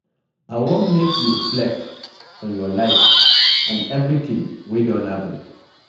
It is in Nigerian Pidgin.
I wan make you reflect on your life and everything wey don happen.